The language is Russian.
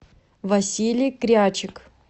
василий крячик